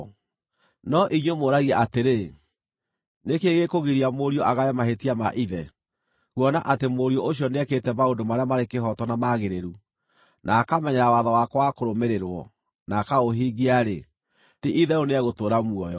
“No inyuĩ mũũragia atĩrĩ, ‘Nĩ kĩĩ gĩkũgiria mũriũ agae mahĩtia ma ithe?’ Kuona atĩ mũriũ ũcio nĩekĩte maũndũ marĩa marĩ kĩhooto na magĩrĩru, na akamenyerera watho wakwa wa kũrũmĩrĩrwo, na akaũhingia-rĩ, ti-itherũ nĩegũtũũra muoyo.